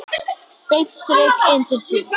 Beint strik inn til sín.